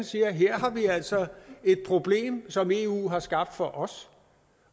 sige her har vi altså et problem som eu har skabt for os